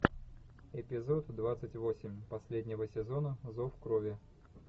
эпизод двадцать восемь последнего сезона зов крови